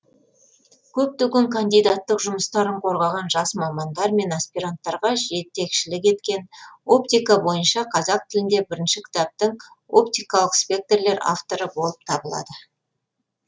көптеген кандидаттық жұмыстарын қорғаған жас мамандар мен аспиранттарға жетекшілік еткен оптика бойынша қазақ тілінде бірінші кітаптың оптикалық спектрлер авторы болып табылады